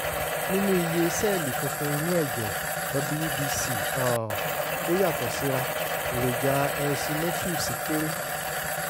nínú iye sẹ́ẹ̀lì funfun inú ẹ̀jẹ̀ (wbc) um tó yàtọ̀ síra èròjà eosinophils kéré (0